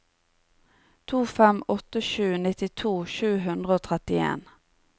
to fem åtte sju nittito sju hundre og trettien